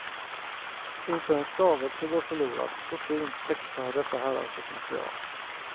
Inte en stavelse går förlorad, så fint textar dessa herrar sitt material.